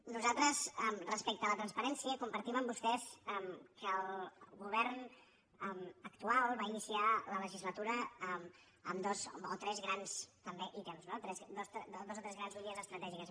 nosaltres respecte a la transparència compartim amb vostès que el govern actual va iniciar la legislatura amb dos o tres grans també ítems no dos o tres grans línies estratègiques